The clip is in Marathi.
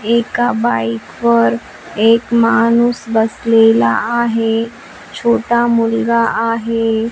एका बाईक वर एक माणूस बसलेला आहे छोटा मुलगा आहे.